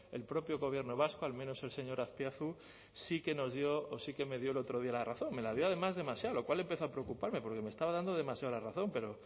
el propio gobierno vasco al menos el señor azpiazu sí que nos dio o sí que me dio el otro día la razón me la dio además demasiado lo cual empezó a preocuparme porque me estaba dando demasiado la razón